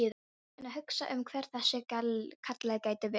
Enn að hugsa um hver þessi Kalli gæti verið.